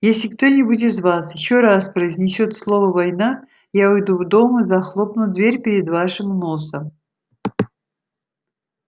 если кто-нибудь из вас ещё раз произнесёт слово война я уйду в дом и захлопну дверь перед вашим носом